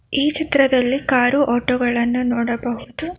ಈ ಚಿತ್ರದಲ್ಲಿ car auto ಗಳನ್ನು ನೋಡಬಹುದು.